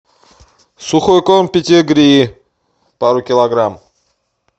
сухой корм педигри пару килограмм